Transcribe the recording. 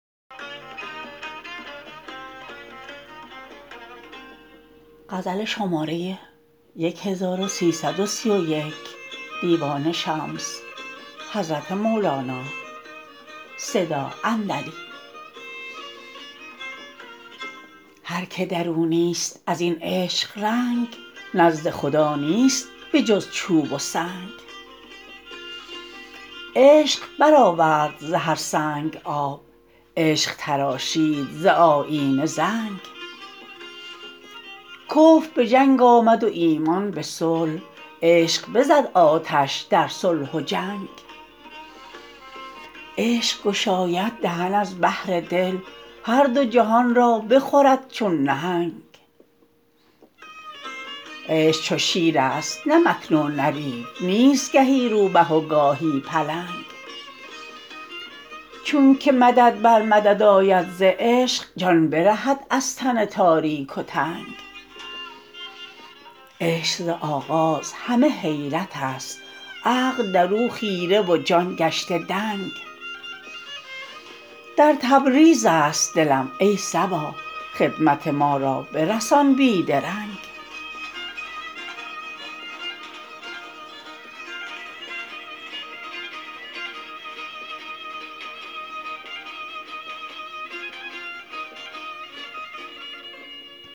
هر کی در او نیست از این عشق رنگ نزد خدا نیست به جز چوب و سنگ عشق برآورد ز هر سنگ آب عشق تراشید ز آیینه زنگ کفر به جنگ آمد و ایمان به صلح عشق بزد آتش در صلح و جنگ عشق گشاید دهن از بحر دل هر دو جهان را بخورد چون نهنگ عشق چو شیرست نه مکر و نه ریو نیست گهی روبه و گاهی پلنگ چونک مدد بر مدد آید ز عشق جان برهد از تن تاریک و تنگ عشق ز آغاز همه حیرتست عقل در او خیره و جان گشته دنگ در تبریزست دلم ای صبا خدمت ما را برسان بی درنگ